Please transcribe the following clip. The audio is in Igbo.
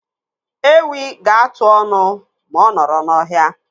Ewi ga-atụ ọnụ ma ọ nọrọ n'ohia.